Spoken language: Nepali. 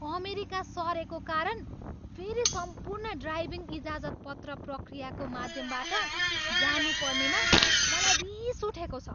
अमेरिका सरेको कारण फेरि सम्पूर्ण ड्राइभिङ इजाजतपत्र प्रक्रियाको माध्यमबाट जानुपर्नेमा मलाई रिस उठेको छ।